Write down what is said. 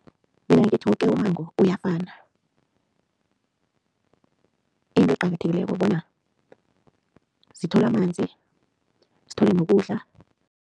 Mina ngithi woke ummango uyafana. Into eqakathekileko bona zithole amanzi zithole nokudla.